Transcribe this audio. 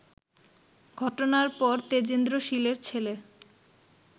ঘটনার পর তেজেন্দ্র শীলের ছেলে